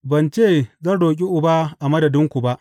Ban ce zan roƙi Uba a madadinku ba.